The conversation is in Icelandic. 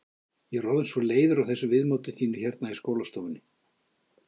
Ég er orðin svo leiður á þessu viðmóti þínu hérna í skólastofunni.